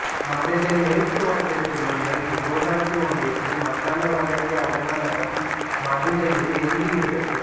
மதுரை மேற்கு வட்டத்தில் உள்ள் இவ்வூராட்சி ஒன்றியத்தின் வட்டார வளர்ச்சி அலுவலகம் மதுரையில் இயங்குகிறது